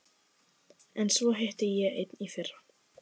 En svo hitti ég einn í fyrra.